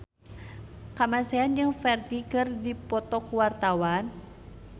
Kamasean jeung Ferdge keur dipoto ku wartawan